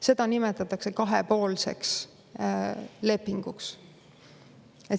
Seda nimetatakse kahepoolseks lepinguks.